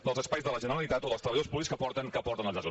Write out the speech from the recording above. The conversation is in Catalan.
dels espais de la generalitat o dels treballadors públics que porten els llaços